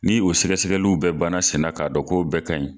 Ni o sɛgɛsɛgɛliw bɛ bana sen na k'a dɔn k'o bɛɛ ka ɲi.